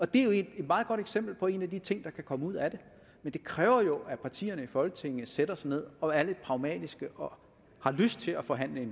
det er jo et meget godt eksempel på en af de ting der kan komme ud af det men det kræver jo at partierne i folketinget sætter sig ned og er lidt pragmatiske og har lyst til at forhandle